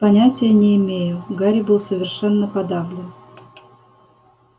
понятия не имею гарри был совершенно подавлен